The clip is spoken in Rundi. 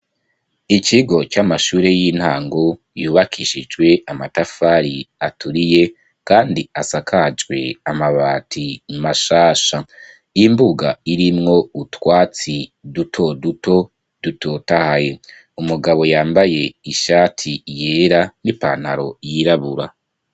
Ikigo c'amashure y'intango, yubakishijwe amatafari aturiye, kandi asakajwe amabati mashasha; imbuga irimwo utwatsi duto duto, dutotahaye; umugabo yambaye ishati yera, n'ipantaro yirabura.